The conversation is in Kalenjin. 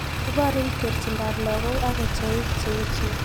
Iborun terchindoap lagok ak kecheik che eecheen